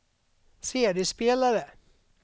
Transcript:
CD-spelare